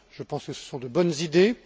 Je pense que ce sont de bonnes idées.